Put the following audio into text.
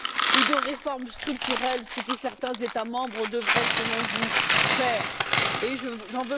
ou de réforme structurelle que certains États membres devraient, selon vous, mettre en place.